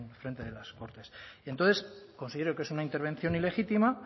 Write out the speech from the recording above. frente de las cortes y entonces considero que es una intervención ilegítima